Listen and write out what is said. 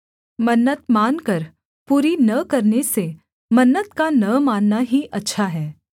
मन्नत मानकर पूरी न करने से मन्नत का न मानना ही अच्छा है